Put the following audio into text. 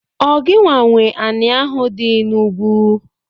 Ọ gịnwa nwe anị ahụ dị n'ugwu?